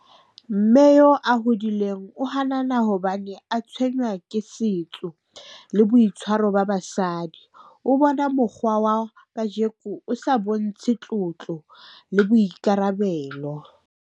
Mme eo a hodileng o hanana hobane a tshwenywa ke setso le boitshwaro ba basadi. O bona mokgwa wa kajeko o sa bontshe tlotlo le boikarabelo.